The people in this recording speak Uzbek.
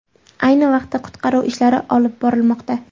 Ayni vaqtda qutqaruv ishlari olib borilmoqda.